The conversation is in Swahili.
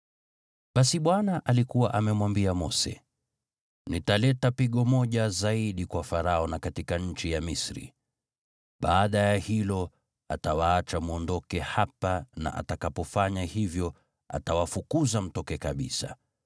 Basi Bwana alikuwa amemwambia Mose, “Nitaleta pigo moja zaidi kwa Farao na katika nchi ya Misri. Baada ya hilo, atawaacha mwondoke hapa na atakapofanya hivyo, atawafukuza mtoke kabisa.